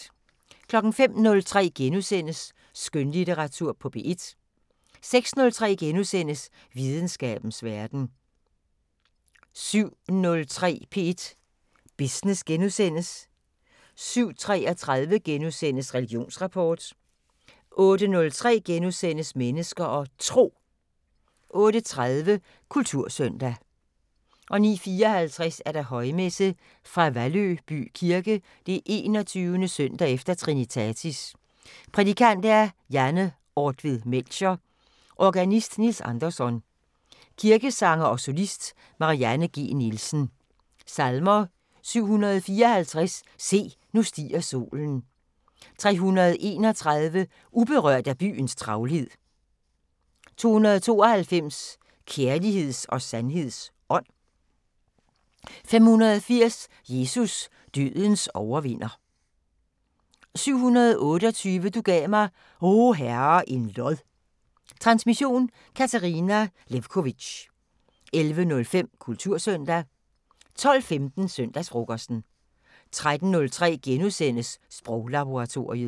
05:03: Skønlitteratur på P1 * 06:03: Videnskabens Verden * 07:03: P1 Business * 07:33: Religionsrapport * 08:03: Mennesker og Tro * 08:30: Kultursøndag 09:54: Højmesse - Fra Valløby Kirke 21. søndag efter trinitatis. Prædikant: Janne Ortved Melcher. Organist: Niels Andersson. Kirkesanger og solist: Marianne G. Nielsen. Salmer: 754: Se, nu stiger solen. 331: Uberørt af byens travlhed. 292: Kærligheds og sandheds ånd. 580: Jesus, dødens overvinder. 728: Du gav mig, o Herre, en lod. Transmission: Katarina Lewkovitch. 11:05: Kultursøndag 12:15: Søndagsfrokosten 13:03: Sproglaboratoriet *